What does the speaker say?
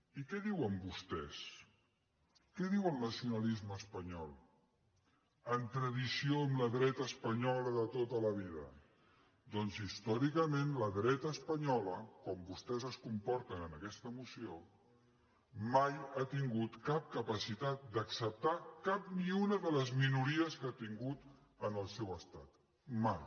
i què diuen vostès què diu el nacionalisme espanyol en tradició amb la dreta espanyola de tota la vida doncs històricament la dreta espanyola com vostès es comporten en aquesta moció mai ha tingut cap capacitat d’acceptar cap ni una de les minories que ha tingut en el seu estat mai